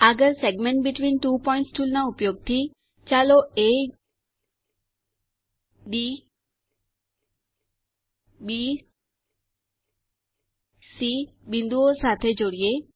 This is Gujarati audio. આગળ segment between two points tool ના ઉપયોગ થી ચાલો એડીબીસી બિંદુઓ સાથે જોડીએ